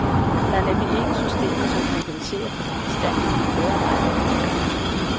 Der er nemlig ikke systemer som kompenserer for den bestandige medarbejderrotation.